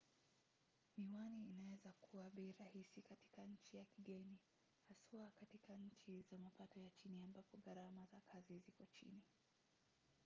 miwani inaweza kuwa bei rahisi katika nchi ya kigeni haswa katika nchi za mapato ya chini ambapo gharama za kazi ziko chini